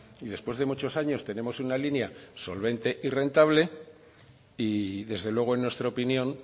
y después de muchos años tenemos una línea solvente y rentable y desde luego en nuestra opinión